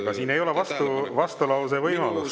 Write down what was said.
Aga siin ei ole vastulause võimalust.